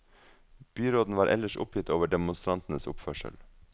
Byråden var ellers oppgitt over demonstrantenes oppførsel.